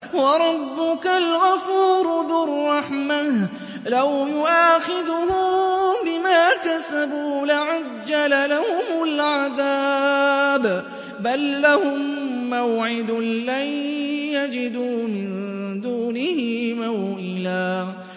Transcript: وَرَبُّكَ الْغَفُورُ ذُو الرَّحْمَةِ ۖ لَوْ يُؤَاخِذُهُم بِمَا كَسَبُوا لَعَجَّلَ لَهُمُ الْعَذَابَ ۚ بَل لَّهُم مَّوْعِدٌ لَّن يَجِدُوا مِن دُونِهِ مَوْئِلًا